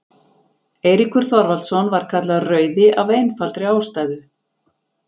eiríkur þorvaldsson var kallaður rauði af einfaldri ástæðu